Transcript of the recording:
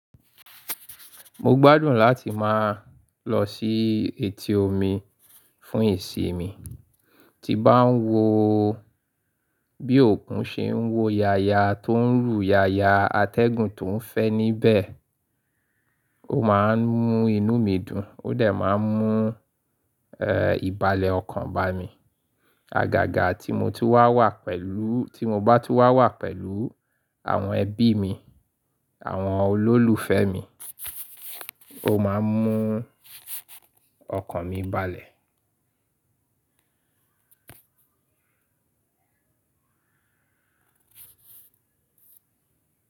Mo gbádùn láti máa lọ sí etí omi fún ìsinmi, tí bá ń wo bí òkun ṣe ń wo yaya tó ń rù yaya atẹ́gùn tó ń fẹ́ níbẹ̀, ó máa ń mú inú mi dùn, ó dẹ̀ máa ń mú, e, ìbálẹ̀ ọkàn ba mi. Àgàgà ti mo ti wa pèlú, ti mo ba tun wa wa pelu àwon ebí mí, àwon olólùfé mí, o maa mu okàn mi balè.